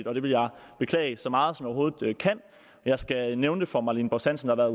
og det vil jeg beklage så meget som overhovedet kan jeg skal nævne for fru marlene borst hansen at